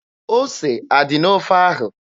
Ose adị n'ofe ahụ?